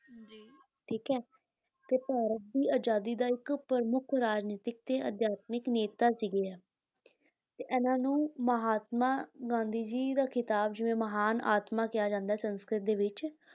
ਠੀਕ ਹੈ ਤੇ ਭਾਰਤ ਦੀ ਆਜ਼ਾਦੀ ਦਾ ਇੱਕ ਪ੍ਰਮੁੱਖ ਰਾਜਨੀਤਿਕ ਤੇ ਅਧਿਆਤਮਿਕ ਨੇਤਾ ਸੀਗਾ ਇਹ ਤੇ ਇਹਨਾਂ ਨੂੰ ਮਹਾਤਮਾ ਗਾਂਧੀ ਜੀ ਦਾ ਖਿਤਾਬ ਜੋ ਹੈ ਮਹਾਨ ਆਤਮਾ ਕਿਹਾ ਜਾਂਦਾ ਹੈ ਸੰਸਕ੍ਰਿਤ ਦੇ ਵਿੱਚ